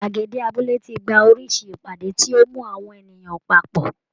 Gbàgede abúlé ti gba oríṣi ìpàdé tí ó mú àwọn ènìyàn papọ̀